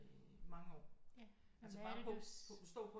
Mange år altså bare på stå på